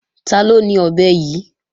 Taló ni ọ̀bẹ yí?